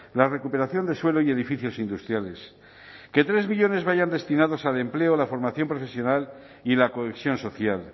la recuperación de suelo y edificios industriales que tres millónes vayan destinados al empleo la formación profesional y la cohesión social